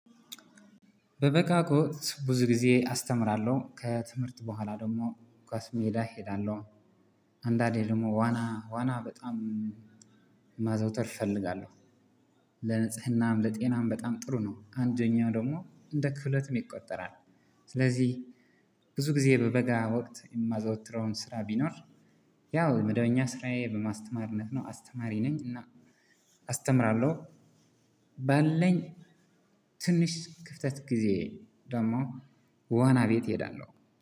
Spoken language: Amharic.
በበጋጎት ብዙ ጊዜ አስተምራለሁ ከትምህርት በኋላ ደግሞ ኳስ ሜዳ እሄዳለሁ። አንዳንዴ ደግሞ ዋና ዋና በጣም ማዘውተር እፈልጋለሁ። ለንጽህናም ለጤናም በጣም ጥሩ ነው አንደኛው ደግሞ እንደ ክህሎትም ይቆጠራል። ስለዚህ ብዙ ጊዜ በበጋ ወቅት የማዘወትረውን ስራ ቢኖር። ያው መደበኛ ስራዬ በማስተማርነት ነው አስተማሪ ነኝ እና አስተምራለሁ። ባለኝ ትንሽ ክፍተት ጊዜ ደግሞ ዋና ቤት እሄዳለሁ